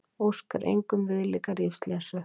Óskar engum viðlíka lífsreynslu